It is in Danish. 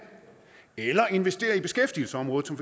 eller investere i beskæftigelsesområdet som